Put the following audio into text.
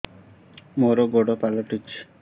ମୋର ଗୋଡ଼ ପାଲଟିଛି